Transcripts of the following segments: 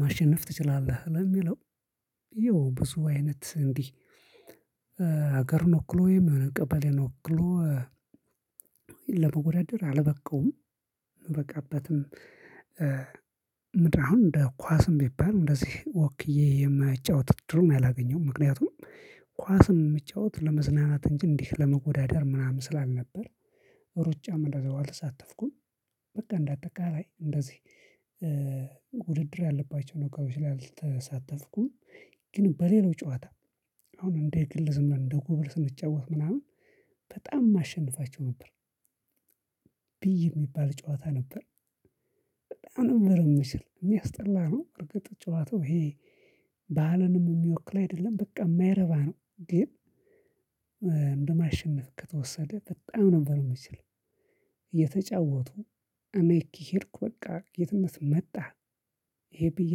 ማሸነፍ ትችላለህ ለሚለው ይኸው ብዙ አይነት እንዲህ ሀገርን ወክሎ ወይም የሆነ ቀበሌን ወክሎ። ለመወዳደር አልበቃውም። እበቃበትም። ምድነው አሁን እንደ ኳስም ቢባል እንደዚህ ወክዬ የመጫወት ዕድሉን አላገኘውም። ምክንያቱም ኳስን ምጫወት ለመዝናናት እንጂ እንዲህ ለመወዳደር ምናምን ስላልነበር ሩጫም እንደዛው አልተሳተፍኩም። በቃ እንዳጠቃላይ እንደዚህ ውድድር ያለባቸውን ነገሮች ላይ አልተሳተፍኩም። ግን በሌላው ጨዋታ አሁን እንደ ግልዝም እንደ ጉብል ስንጫወት ምናምን በጣም ማሸንፋቸው ነበር። ብይ የሚባል ጨዋታ ነበር። በጣም ነበር እምችል ሚያስጠላ ነው እርግጥ ጨዋታው ይሄ። ባህልንም የሚወክል አይደለም በቃ የማይረባ ነው። ግን እንደ ማሽነፍ ከተወሰደ በጣም ነበር እምችል። እየተጫወቱ እኔ ከሄድኩ በቃ ጌትነት መጣ። ይሄ ብዬ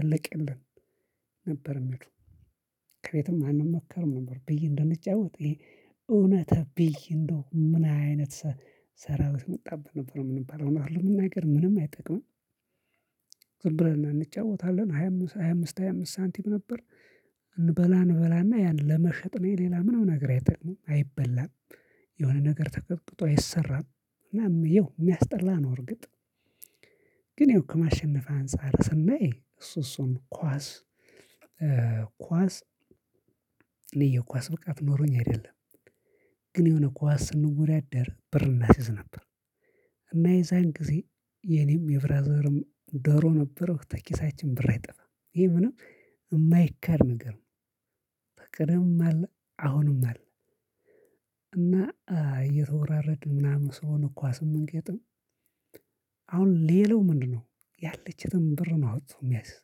አለቀልን። ነበር የሚሉ ከየትም አንሞከርም ነበር። ብዬ እንደምጫወት ይሄ እውነት ብይ እንደው ምን አይነት? ሰራዊት መጣብን ነበር ምንባለው እውነት ለመናገር ምንም አይጠቅምም። ዝም ብለን እንጫወታለን ሃያ አምስት ሃያ አምስት ሃያ አምስት ሳንቲም ነበር። እንበላ እንበላና ያን ለመሸጥ ነው። ሌላ ምነም ነገር አይጠቅምም አይበላም። የሆነ ነገር ተቀጥቅጦ አይሰራም። እና ይኸው የሚያስጠላ ነው እርግጥ። ግን ይኸው ከማሸነፍ አንፃር ስናይ እሱ እሱን ኳስ ኳስ እኔ የኳስ ብቃት ኖሮኝ አይደለም። ግን የሆነ ኳስ ስንወዳደር ብር እናሲዝ ነበር። እና የዛን ጊዜ የኔም የብራዘርም ደሮ ነበረው ተኪሳችን ብር አይጠፋም ይሄ ምንም የማይካድ ነገር። ነው አለ አሁንም አለ። እና እየተወራረዱ ምናምን ስለሆነ ኳስ ምንገጥም። አሁን ሌላው ምንድነው? ያለችትን ብር ነው አውጥቶ የሚያስዝ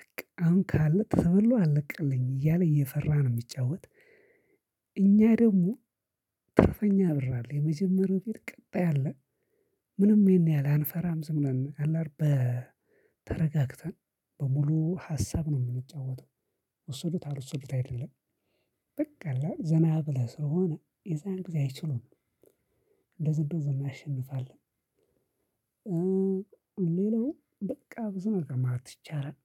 በቃ አሁን ከተበላሁ አለቅልኝ እያለ እየፈራ ነው የሚጫወት። እኛ ደግሞ ትርፈኛ ብር አለ የመጀመሪያው ፊት ቀጣይ አለ። ምንም ይሄን ያህል አንፈራም ዝምብለን ተረጋግተን በሙሉ ሀሳብ ነው የምንጫወተው። ወሰዱት አልወሰዱት አይደለም። በቃ አለ ዘና ብለህ ስለሆነ የዛን ጊዜ አይችሉም። እንደዚ እንድዚ እናሸንፋለን። ሌላው በቃ ብዙ ነገር ማለት ይቻላል።